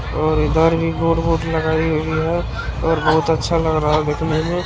--और इधर भी बोर्ड वोर्ड लगाई हुई है और बहुत अच्छा लग रहा है देखने में--